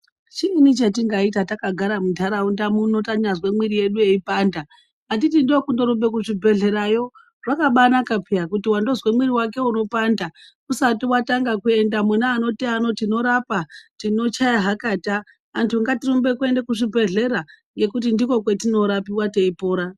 Chiini chetingaita takagara muntaraunda muno tanyazwe mwiri yedu yeipanda? Handiti ndokutorumbe kuzvibhedhlerayo, zvakabanaka phiya, kuti wandozwa mwiri wake weipanda usati watanga kuenda mune anoti ano, tinorapa, tinochaya hakata antu ngatirumbe kuende kuzvibhedhlera ngekuti ndiko kwetinorapiwa teipora.